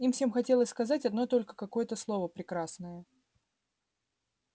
им всем хотелось сказать одно только какое-то слово прекрасное